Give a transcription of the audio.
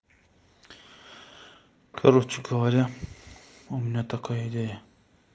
короче говоря у меня такая идея